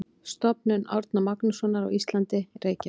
Stofnun Árna Magnússonar á Íslandi, Reykjavík.